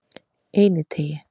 Einiteigi